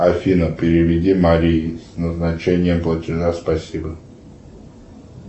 афина переведи марии назначение платежа спасибо